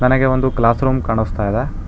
ನನಗೆ ಒಂದು class room ಕಾನಸ್ತಾ ಇದೆ.